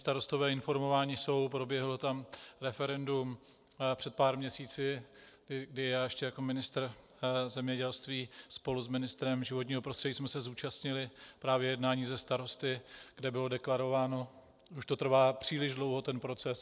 Starostové informováni jsou, proběhlo tam referendum před pár měsíci, kdy já ještě jako ministr zemědělství spolu s ministrem životního prostředí jsem se zúčastnil právě jednání se starosty, kde bylo deklarováno "už to trvá příliš dlouho, ten proces".